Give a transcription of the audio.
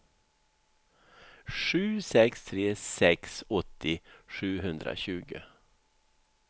sju sex tre sex åttio sjuhundratjugo